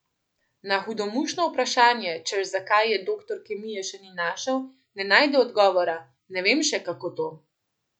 Na hudomušno vprašanje, češ zakaj je doktor kemije še ni našel, ne najde odgovora: "Ne vem še, kako to.